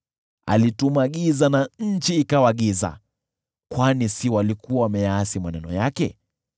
Alituma giza na nchi ikajaa giza, kwani si walikuwa wameyaasi maneno yake?